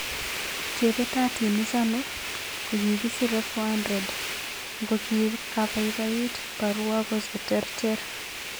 Chepetating ichano ko kisiree 400 ngokikaipat baruako cheterter.